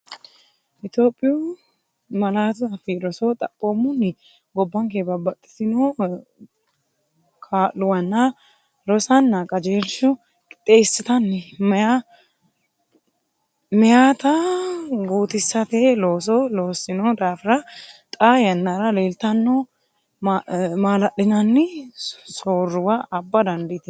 Itophiyu Malaatu Afii Roso Xaphoomunni, gobbanke babbaxxitino kaa’luwanna rosonna qajeelshu- qixxeessatenni meyaata guutisate looso loossino daafira xaa yannara leeltanni noo maala’linanni soorruwa abba dandiitino.